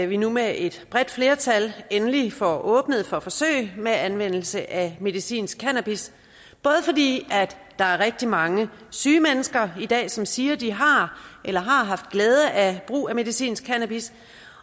vi nu med et bredt flertal endelig får åbnet for forsøg med anvendelse af medicinsk cannabis både fordi der er rigtig mange syge mennesker i dag som siger at de har eller har haft glæde af brug af medicinsk cannabis